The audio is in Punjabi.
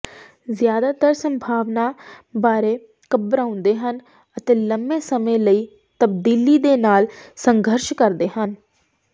ਜ਼ਿਆਦਾਤਰ ਸੰਭਾਵਨਾ ਬਾਰੇ ਘਬਰਾਉਂਦੇ ਹਨ ਅਤੇ ਲੰਮੇ ਸਮੇਂ ਲਈ ਤਬਦੀਲੀ ਦੇ ਨਾਲ ਸੰਘਰਸ਼ ਕਰਦੇ ਹਨ